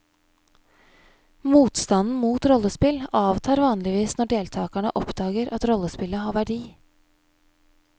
Motstanden mot rollespill avtar vanligvis når deltakerne oppdager at rollespillet har verdi.